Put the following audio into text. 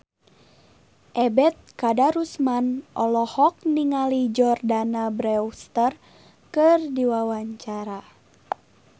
Ebet Kadarusman olohok ningali Jordana Brewster keur diwawancara